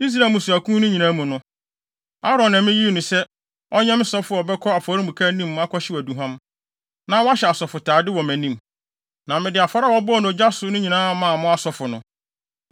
Israel mmusuakuw no nyinaa mu no, Aaron na miyii no sɛ, ɔnyɛ me sɔfo a ɔbɛkɔ afɔremuka anim akɔhyew aduhuam, na wɔahyɛ asɔfotade wɔ mʼanim. Na mede afɔre a wɔbɔɔ no ogya so no nyinaa maa mo asɔfo no.